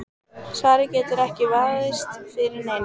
Svarið getur ekki vafist fyrir neinum.